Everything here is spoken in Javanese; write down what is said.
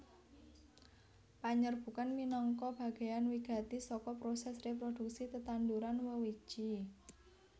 Panyerbukan minangka bagéan wigati saka prosès réprodhuksi tetanduran wewiji